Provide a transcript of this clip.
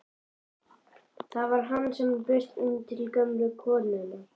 Það var hann sem braust inn til gömlu konunnar!